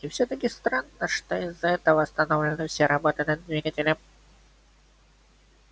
и всё-таки странно что из-за этого остановлены все работы над двигателем